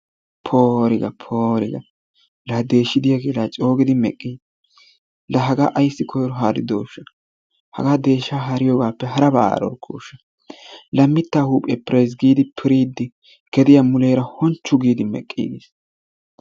Pooriga poorigaa la deshshi de'iyaage la coogidi meqqii! La hagaa ayssi koyro haaridooshsha. Hagaa deshshaa haariyoogappe harabaa harorkooshsha. La mittaa huphphiya pirays giidi piriiddi gediyaa muleera hunchchu giidi meqqi aggiis.